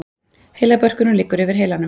Heilabörkurinn liggur yfir heilanum.